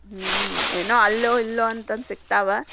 ಹ್ಮ್‌ ಏನೋ ಅಲ್ಲೋ ಇಲ್ಲೋ ಅಂತಂದ್ ಸಿಗ್ತಾವ.